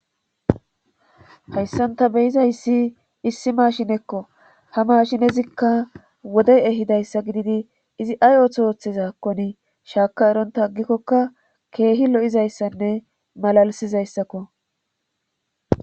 hayssan ta beyizayssi issi maashinekko ha maashinezikka wode ehidayssa gididi izi ay otho ooththizaakkoni shaaka eronta aggikkokka keehi lo7izayssanne malalisizayssakko